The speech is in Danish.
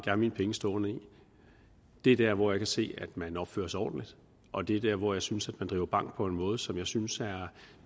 har mine penge stående er der hvor jeg kan se at man opfører sig ordentligt og det er der hvor jeg synes at man driver bank på en måde som jeg synes er